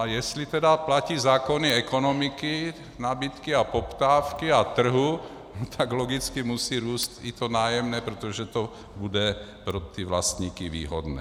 A jestli tedy platí zákony ekonomiky, nabídky a poptávky a trhu, tak logicky musí růst i to nájemné, protože to bude pro ty vlastníky výhodné.